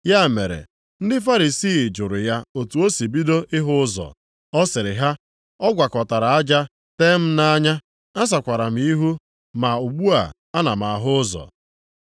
Ya mere, ndị Farisii jụrụ ya otu o si bido ịhụ ụzọ. Ọ sịrị ha, “Ọ gwakọtara aja tee m nʼanya, a sakwara m ihu ma ugbu a ana m ahụ ụzọ.”